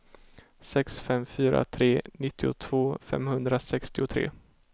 sex fem fyra tre nittiotvå femhundrasextiotre